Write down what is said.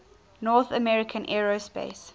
north american aerospace